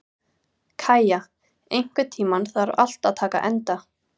Kæja, einhvern tímann þarf allt að taka enda.